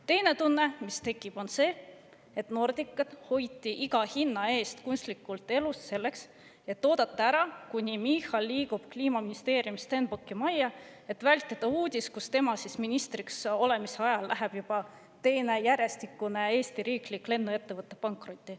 Teine tunne, mis tekib, on see, et Nordicat hoiti iga hinna eest kunstlikult elus selleks, et oodata ära, kuni Michal liigub Kliimaministeeriumist Stenbocki majja, vältimaks uudist, et tema ministriks olemise ajal läheb juba teine järjestikune Eesti riiklik lennuettevõte pankrotti.